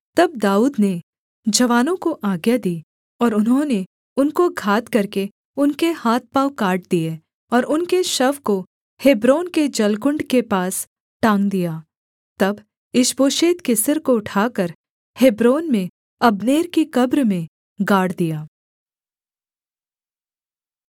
तब दाऊद ने जवानों को आज्ञा दी और उन्होंने उनको घात करके उनके हाथ पाँव काट दिए और उनके शव को हेब्रोन के जलकुण्ड के पास टाँग दिया तब ईशबोशेत के सिर को उठाकर हेब्रोन में अब्नेर की कब्र में गाड़ दिया